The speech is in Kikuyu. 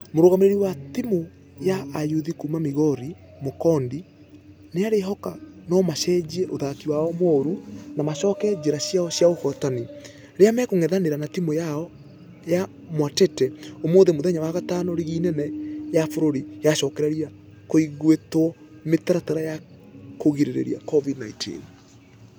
Mũrugamĩrĩri wa timũ ya ayuthi kuuma migori mukundi nĩarĩhoka nũmacenjie ũthaki wao mũru na macoke njĩra ciao cia ũhotani. Rĩrĩa makũngethanĩra na timũ ya mwatete ũmũthĩ mũthenya wa gatano rigi ĩrĩa nene ya bũrũri yacokereria kũigĩtwo mĩtaratara ya kũgirereria covid-19.